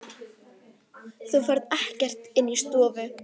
Þú ferð ekkert inn í stofu!